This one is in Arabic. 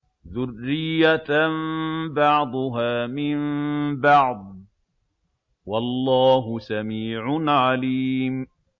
ذُرِّيَّةً بَعْضُهَا مِن بَعْضٍ ۗ وَاللَّهُ سَمِيعٌ عَلِيمٌ